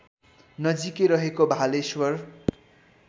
नजिकै रहेको भालेश्वर